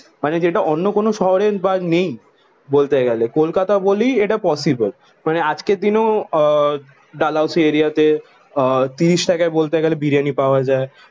মানে যেটা অন্য কোন শহরে নেই বলতে গেলে। কলকাতা বলেই এটা পসিবল। মানে আজকের দিনেও আহ ডালহৌসি এরিয়াতে আহ তিরিশ টাকায় বলতে গেলে বিরিয়ানি পাওয়া যায়।